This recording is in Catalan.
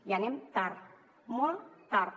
i anem tard molt tard